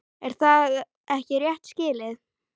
Er það ekki rétt skilið?